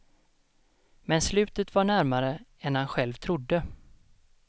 Men slutet var närmare än han själv trodde.